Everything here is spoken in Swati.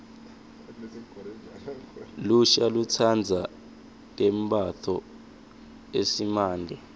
lusha lutsandza tembatfo eesimante